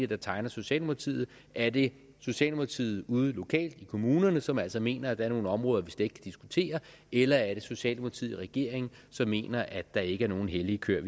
der tegner socialdemokratiet er det socialdemokratiet ude lokalt i kommunerne som altså mener at der er nogle områder vi slet diskutere eller er det socialdemokratiet i regeringen som mener at der ikke er nogen hellige køer